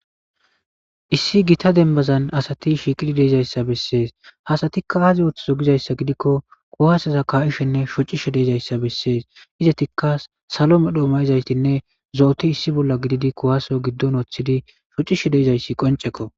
Issi giita dembbazan asati shiqqidi deizayssa besses ha asati aazi othizo giizayssa giidiko kuwasseza ka'ishene shoccishe dizayssa besses iizetika sallo medhdho mayidaytinne zo'oti issi bolla gididi kuwase giidon woththidi shoccishe deizaysi qoncceko.